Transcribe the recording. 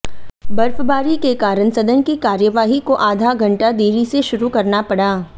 बर्फबारी के कारण सदन की कार्यवाही को आधा घंटा देरी से शुरू करना पड़ा